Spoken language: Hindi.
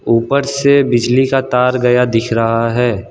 ऊपर से बिजली का तार गया दिख रहा है।